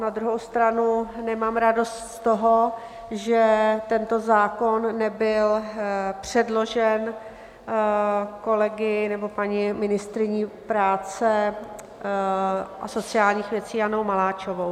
Na druhou stranu nemám radost z toho, že tento zákon nebyl předložen kolegy nebo paní ministryní práce a sociálních věcí Janou Maláčovou.